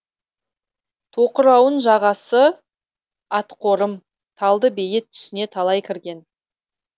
тоқырауын жағасы атақорым талдыбейіт түсіне талай кірген